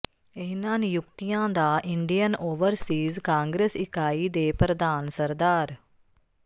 ਇਨ੍ਹਾਂ ਨਿਯੁਕਤੀਆਂ ਦਾ ਇੰਡੀਅਨ ਓਵਰਸੀਜ਼ ਕਾਂਗਰਸ ਇਕਾਈ ਦੇ ਪ੍ਰਧਾਨ ਸ